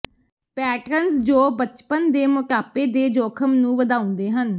patterns ਜੋ ਬਚਪਨ ਦੇ ਮੋਟਾਪੇ ਦੇ ਜੋਖਮ ਨੂੰ ਵਧਾਉਂਦੇ ਹਨ